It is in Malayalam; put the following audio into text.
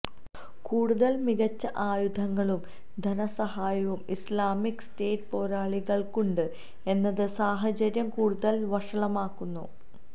കൂടുതല് മികച്ച ആയുധങ്ങളും ധനസഹായവും ഇസ്ലാമിക് സ്റ്റേറ്റ് പോരാളികള്ക്കുണ്ട് എന്നത് സാഹചര്യം കൂടുതല് വഷളാക്കുന്നു